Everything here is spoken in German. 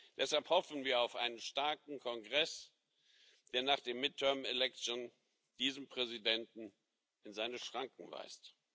Deshalb hoffen wir auf einen starken Kongress, der nach den midterm elections diesen Präsidenten in seine Schranken weist.